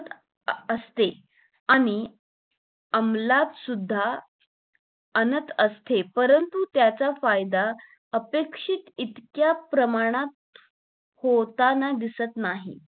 असते आणि आम्लात सुद्धा अनंत असते परंतु त्याचा फायदा अपेक्षित इतक्या प्रमाणात होताना दिसत नाही